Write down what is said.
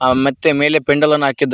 ಅ ಮತ್ತೆ ಮೇಲೆ ಪೆಂಡಾಲ್ ಅನ್ನು ಹಾಕಿದ್ದಾ--